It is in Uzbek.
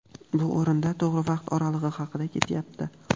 bu o‘rinda to‘g‘ri vaqt oralig‘i haqida ketyapti.